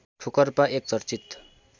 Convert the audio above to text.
ठोकर्पा एक चर्चित